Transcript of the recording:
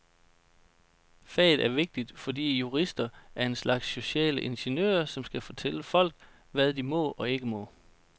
Faget er vigtigt, fordi jurister er en slags sociale ingeniører, som skal fortælle folk, hvad de må og ikke må.